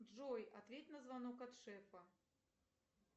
джой ответь на звонок от шефа